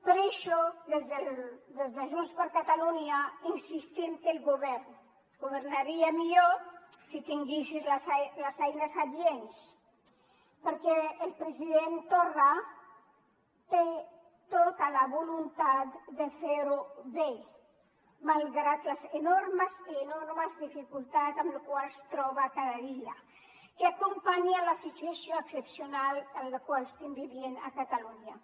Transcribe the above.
per això des de junts per catalunya insistim que el govern governaria millor si tingués les eines adients perquè el president torra té tota la voluntat de fer ho bé malgrat les enormes enormes dificultats amb les quals es troba cada dia que acompanyen la situació excepcional en la qual estem vivint a catalunya